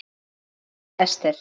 Þín Dóra Esther.